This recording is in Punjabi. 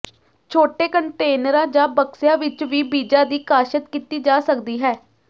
ਛੋਟੇ ਕੰਟੇਨਰਾਂ ਜਾਂ ਬਕਸਿਆਂ ਵਿੱਚ ਵੀ ਬੀਜਾਂ ਦੀ ਕਾਸ਼ਤ ਕੀਤੀ ਜਾ ਸਕਦੀ ਹੈ